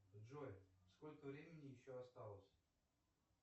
джой сколько времени еще осталось